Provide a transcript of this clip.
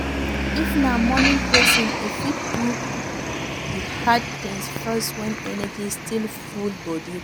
If na morning person, im fit do di hard things first when energy still full bodi